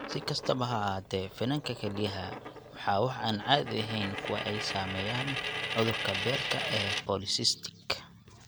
Si kastaba ha ahaatee, finanka kelyaha waa wax aan caadi ahayn kuwa ay saameeyeen cudurka beerka ee polycystic.